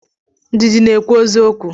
Ndidi na ekwu eziokwu.